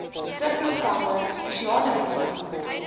subprogramme spesiale programme